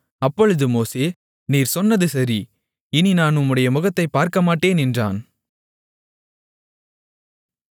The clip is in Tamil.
அப்பொழுது மோசே நீர் சொன்னது சரி இனி நான் உம்முடைய முகத்தைப் பார்க்கமாட்டேன் என்றான்